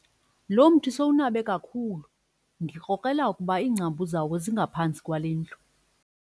Lo mthi sowunabe kakhulu ndikrokrela ukuba iingcambu zawo zingaphantsi kwale ndlu.